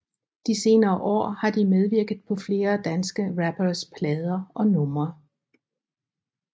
De senere år har de medvirket på flere danske rapperes plader og numre